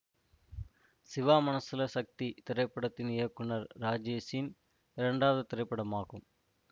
சிவா மனசுல சக்தி திரைப்படத்தின் இயக்குனர் இராஜேஷின் இரண்டாவது திரைப்படமாகும்